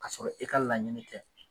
K'a sɔrɔ i ka laɲini tɛ.